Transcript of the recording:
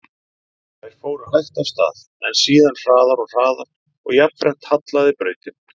Þær fóru hægt af stað, en síðan hraðar og hraðar og jafnframt hallaði brautin.